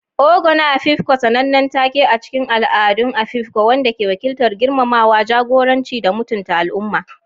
Ogo na Afikpo, sanannen take a cikin al'adun Afikpo wanda ke wakiltar girmamawa, jagoranci, da mutunta al'umma.